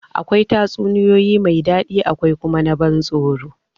Akwai tatsuniya mai daɗi akwai kuma na ban tsoro.